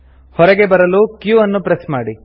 ಹೊರಗೆ ಬರಲು q ಅನ್ನು ಪ್ರೆಸ್ ಮಾಡಿ